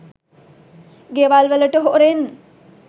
ගෙවල් වලට හොරෙන්.